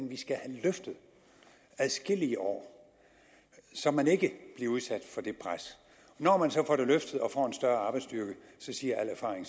vi skal have løftet adskillige år så man ikke bliver udsat for det pres når man så får den løftet og får en større arbejdsstyrke siger al erfaring